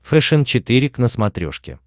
фэшен четыре к на смотрешке